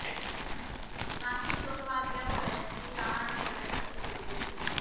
नाशिक ढोल वाजवल्यावरच हि रहाड सगळ्यांसाठी खुली होते